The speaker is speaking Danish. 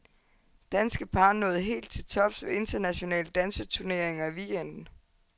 Danske par nåede helt til tops ved internationale danseturneringer i weekenden.